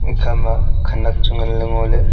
ekha ma khanak chu ngan le ngo le.